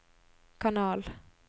kanal